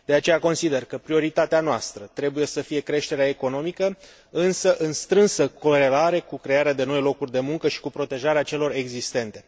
De aceea consider că prioritatea noastră trebuie să fie creșterea economică, însă în strânsă corelare cu crearea de noi locuri de muncă și cu protejarea celor existente.